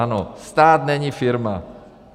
Ano, stát není firma.